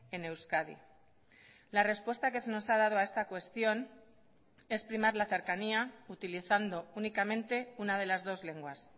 en euskadi la respuesta que se nos ha dado a esta cuestión es primar la cercanía utilizando únicamente una de las dos lenguas